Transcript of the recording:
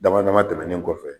Dama dama tɛmɛnen kɔfɛ